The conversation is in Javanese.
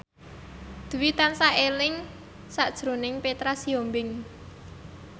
Dwi tansah eling sakjroning Petra Sihombing